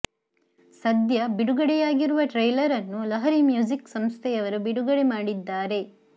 ಸದ್ಯ ಬಿಡುಗಡೆಯಾಗಿರುವ ಟ್ರೈಲರ್ ಅನ್ನು ಲಹರಿ ಮ್ಯೂಸಿಕ್ ಸಂಸ್ಥೆಯವರು ಬಿಡುಗಡೆ ಮಾಡಿದ್ದಾರೆ